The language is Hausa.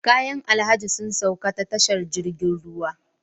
Kayan alhaji sun sauka ta tashar jirgin ruwa